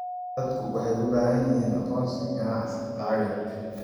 Dadku waxay u baahan yihiin aqoonsi ganacsi lacageed.